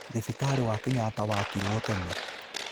Thibitarĩ wa Kenyatta waakirwo tene